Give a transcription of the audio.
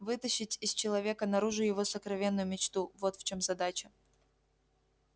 вытащить из человека наружу его сокровенную мечту вот в чём задача